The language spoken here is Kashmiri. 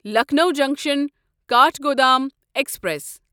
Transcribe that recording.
Lucknow junction Kathgodam express